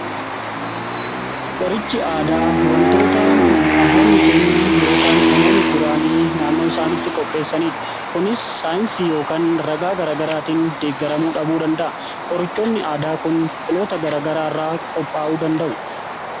Qoricha aadaa, wantoota abboonni keenya yookaan namoonni duraanii naannoo isaanitti qopheessaniidha. Kunis saayinsii yookaan ragaa gara-garaatiin deeggaramuu dhabuu danda'a. Qorichoonni aadaa kun biqiloota garagaraa irraa qophaa'uu danda'a.